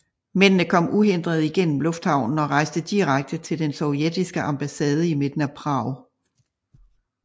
Mændene kom uhindret igennem lufthavnen og rejste direkte til den sovjetiske ambassade i midten af Prag